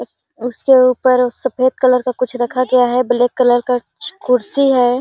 अ उसके ऊपर और सफेद कलर का कुछ रखा गया है ब्लैक कलर का कछ कुर्सी हैं |